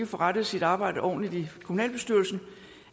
forrettet sit arbejde ordentligt i kommunalbestyrelsen